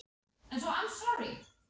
Höskuldur Kári: Er þér ekkert kalt?